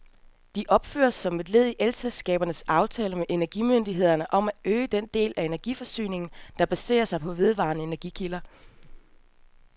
De opføres som led i elselskabernes aftale med energimyndighederne om at øge den del af energiforsyningen, der baserer sig på vedvarende energikilder.